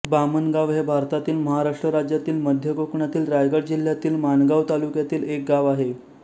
बामणगाव हे भारतातील महाराष्ट्र राज्यातील मध्य कोकणातील रायगड जिल्ह्यातील माणगाव तालुक्यातील एक गाव आहे